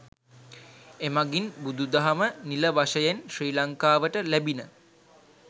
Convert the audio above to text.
එමඟින් බුදුදහම නිල වශයෙන් ශ්‍රී ලංකාවට ලැබිණ.